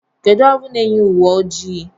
Kedụ ọrụ n'eyi uwe ojii?